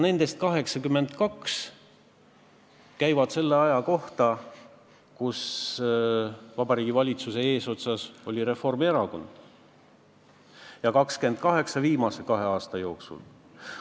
Nendest 82 seadusmuudatust käib selle aja kohta, kui Vabariigi valitsuse eesotsas oli Reformierakond, ja 28 on vastu võetud viimase kahe aasta jooksul.